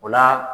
O la